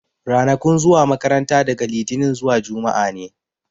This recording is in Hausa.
Ranakun zuwa makaranta daga litinin zuwa juma'a ne.